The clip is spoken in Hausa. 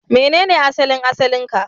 Menene asalin asalin ka?